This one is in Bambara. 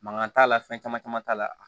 Mankan t'a la fɛn caman caman t'a la